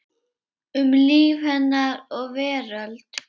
Um líf hennar og veröld.